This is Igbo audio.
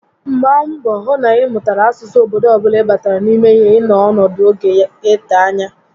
Mgbaa mbọ hụ na ị mụtara asụsụ obodo ọbula ị batara n'ime ya ị nọ ọnọdụ oge ga ete ányá